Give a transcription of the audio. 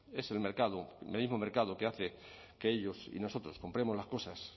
es el mercado el mismo mercado que hace que ellos y nosotros compremos las cosas